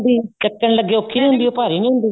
ਹੁੰਦੀਚੱਕਣ ਲੱਗੇ ਔਖੀ ਨਹੀਂ ਹੁੰਦੀ ਭਾਰੀ ਨਹੀਂ ਹੁੰਦੀ